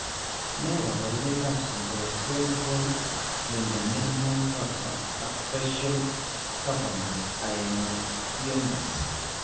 Ne kaabarunetap Supraumbilical midabdominal raphe ak facial cavernous hemangiomas?